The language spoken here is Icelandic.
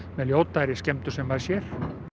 með ljótari skemmdum sem maður sér